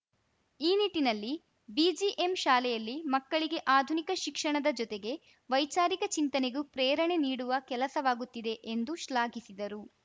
ಈ ನಿಟ್ಟಿನಲ್ಲಿ ಬಿಜಿಎಂ ಶಾಲೆಯಲ್ಲಿ ಮಕ್ಕಳಿಗೆ ಆಧುನಿಕ ಶಿಕ್ಷಣದ ಜೊತೆಗೆ ವೈಚಾರಿಕ ಚಿಂತನೆಗೂ ಪ್ರೇರಣೆ ನೀಡುವ ಕೆಲಸವಾಗುತ್ತಿದೆ ಎಂದು ಶ್ಲಾಘಿಸಿದರು